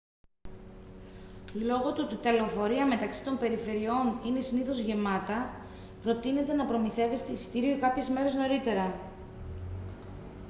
λόγω του ότι τα λεωφορεία μεταξύ των περιφερειών είναι συνήθως γεμάτα προτείνεται να προμηθεύεστε εισιτήριο κάποιες μέρες νωρίτερα